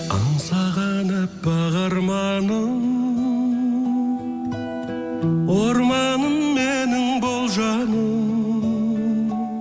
аңсаған аппақ арманым орманым менің бол жаным